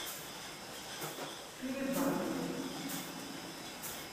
перебатов